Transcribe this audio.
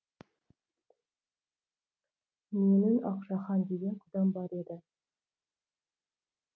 менің ақша хан деген құдам бар еді